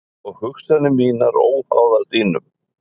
Og hugsanir mínar óháðar þínum.